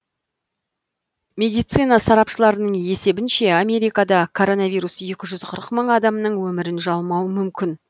медицина сарапшыларының есебінше америкада коронавирус екі жүз қырық мың адамның өмірін жалмауы мүмкін